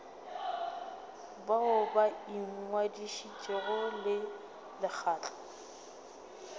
bao ba ingwadišitšego le lekgotla